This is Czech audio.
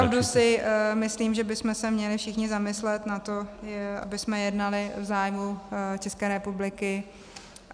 Opravdu si myslím, že bychom se měli všichni zamyslet nad tím, abychom jednali v zájmu České republiky.